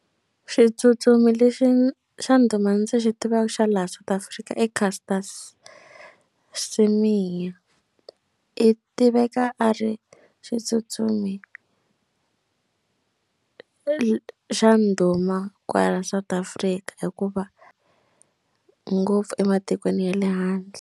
Xitsutsumi lexi xa ndhuma ndzi xi tivaka xa laha South Africa i Caster Semenya i tiveka a ri xitsutsumi xa ndhuma kwala South Africa hikuva ngopfu ematikweni ya le handle.